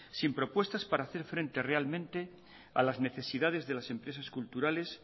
sin propuestas para hacer frente realmente a las necesidades de las empresas culturales